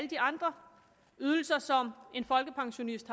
de andre ydelser som en folkepensionist